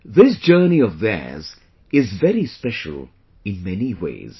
This journey of theirs is very special in many ways